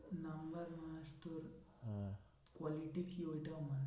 number must তোর quality কি ওইটাও must